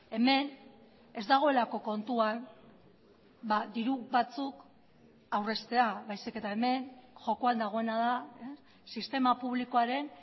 hemen ez dagoelako kontuan diru batzuk aurreztea baizik eta hemen jokoan dagoena da sistema publikoaren